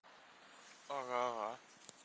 ага ага